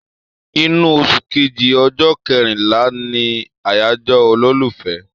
Inú oṣù kejiì, ọjọ́ kẹrinlá ni àyájọ́ ọjọ́ olólùfẹ́